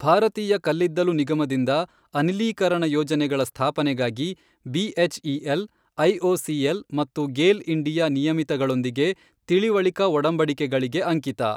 ಭಾರತೀಯ ಕಲ್ಲಿದ್ದಲು ನಿಗಮದಿಂದ ಅನಿಲೀಕರಣ ಯೋಜನೆಗಳ ಸ್ಥಾಪನೆಗಾಗಿ ಬಿಎಚ್ಇಎಲ್, ಐಒಸಿಎಲ್ ಮತ್ತು ಗೇಲ್ ಇಂಡಿಯಾ ನಿಯಮಿತಗಳೊಂದಿಗೆ ತಿಳಿವಳಿಕಾ ಒಡಂಬಡಿಕೆಗಳಿಗೆ ಅಂಕಿತ.